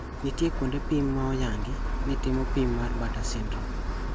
Nitiere kuonde pim maoyangi ni timo pim mar Bartter syndrome.